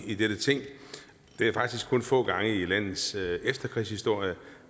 i dette ting det er faktisk kun få gange i landets efterkrigshistorie